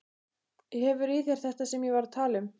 Hefur í þér þetta sem ég var að tala um.